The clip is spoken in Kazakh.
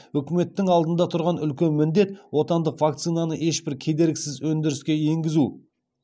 үкіметтің алдында тұрған үлкен міндет отандық вакцинаны ешбір кедергісіз өндіріске енгізу